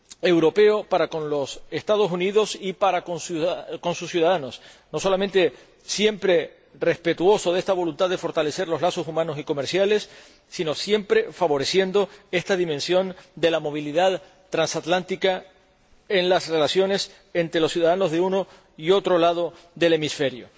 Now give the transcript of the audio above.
europeo para con los Estados Unidos y para con sus conciudadanos, que no solo ha sido siempre respetuoso con la voluntad de fortalecer los lazos humanos y comerciales, sino que siempre ha favorecido la dimensión de la movilidad transatlántica en las relaciones entre los ciudadanos de uno y otro hemisferio.